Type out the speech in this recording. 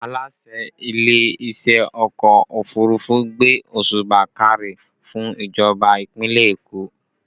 Aláṣẹ ilé iṣẹ́ ọkọ òfurufú gbé òsùbà káre fún ìjọba ìpínlẹ̀ Èkó